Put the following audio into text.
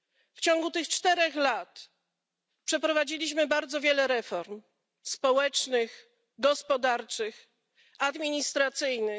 W ciągu tych czterech lat przeprowadziliśmy bardzo wiele reform społecznych, gospodarczych, administracyjnych.